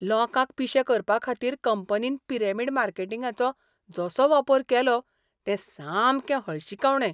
लोकांक पिशे करपाखातीर कंपनीन पिरॅमीड मार्केटिंगाचो जसो वापर केलो तें सामकें हळशिकावणें.